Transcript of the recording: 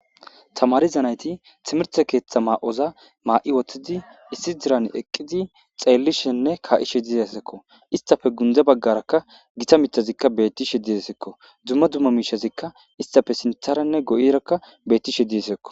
Tamarizanayti timirte keeththa ma'oza maa'i woththidi issi diran eqqidi xeellishenne ka'ishe dizasekko istafe gundze baggarakka gita mitazikka beetti shediesekko dumma dumma miishazikka istafe sintharenne go'irakka betti shediyesekko.